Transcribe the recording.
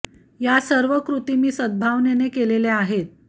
या सर्व कृती मी सद् भावनेने केलेल्या आहेत